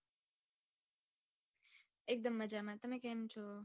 એકદમ મજામાં તમે કેમ છો?